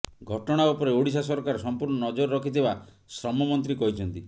ଘଟଣା ଉପରେ ଓଡ଼ିଶା ସରକାର ସଂପୃର୍ଣ୍ଣ ନଜର ରଖିଥିବା ଶ୍ରମ ମନ୍ତ୍ରୀ କହିଛନ୍ତି